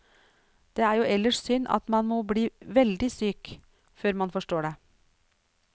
Det er jo ellers synd at man må bli veldig syk før man forstår det.